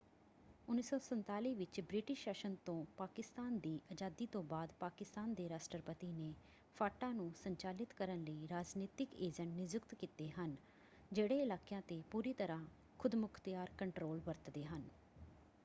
1947 ਵਿੱਚ ਬ੍ਰਿਟਿਸ਼ ਸ਼ਾਸਨ ਤੋਂ ਪਾਕਿਸਤਾਨ ਦੀ ਆਜ਼ਾਦੀ ਤੋਂ ਬਾਅਦ ਪਾਕਿਸਤਾਨ ਦੇ ਰਾਸ਼ਟਰਪਤੀ ਨੇ ਫਾਟਾ ਨੂੰ ਸੰਚਾਲਿਤ ਕਰਨ ਲਈ ਰਾਜਨੀਤਿਕ ਏਜੰਟ ਨਿਯੁਕਤ ਕੀਤੇ ਹਨ ਜਿਹੜੇ ਇਲਾਕਿਆਂ 'ਤੇ ਪੂਰੀ ਤਰ੍ਹਾਂ ਖ਼ੁਦਮੁਖ਼ਤਿਆਰ ਕੰਟਰੋਲ ਵਰਤਦੇ ਹਨ।